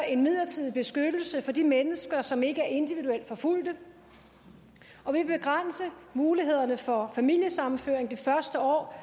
en midlertidig beskyttelse for de mennesker som ikke er individuelt forfulgt og vi vil begrænse mulighederne for familiesammenføring det første år